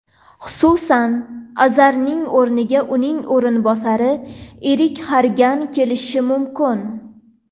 Xususan, Azarning o‘rniga uning o‘rinbosari Erik Xargan kelishi mumkin.